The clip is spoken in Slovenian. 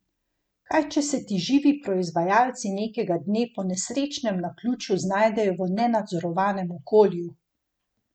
Kaj če se ti živi proizvajalci nekega dne po nesrečnem naključju znajdejo v nenadzorovanem okolju?